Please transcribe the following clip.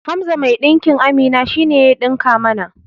Hamza mai ɗinkin Amina shine ya ɗinka mana